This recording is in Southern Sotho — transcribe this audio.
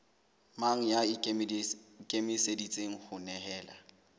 mang ya ikemiseditseng ho nehelana